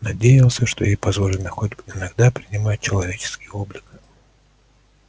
надеялся что ей позволено хоть иногда принимать человеческий облик